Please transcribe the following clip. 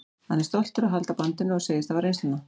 Hann er stoltur að halda bandinu og segist hafa reynsluna.